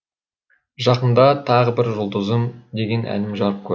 жақында тағы бір жұлдызым деген әнім жарық көрді